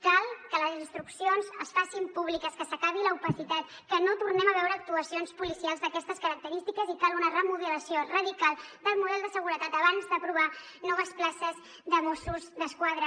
cal que les instruccions es facin públiques que s’acabi l’opacitat que no tornem a veure actuacions policials d’aquestes característiques i cal una remodelació radical del model de seguretat abans d’aprovar noves places de mossos d’esquadra